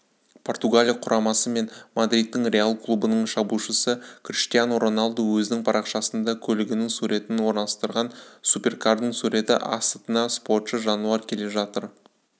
португалия құрамасы мен мадридтік реал клубының шабуылшысы криштиану роналду өзінің парақшасында көлігінің суретін орналастырған суперкардың суреті асытна спортшы жануар келе жатыр